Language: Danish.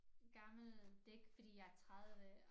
Gammel det ikke fordi jeg 30